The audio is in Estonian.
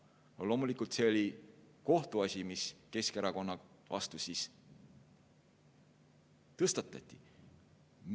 Loomulikult oli kohtuasi, mis Keskerakonna vastu siis tõstatati.